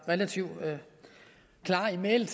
relativt klare i mælet